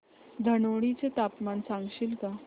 धनोडी चे तापमान सांगशील का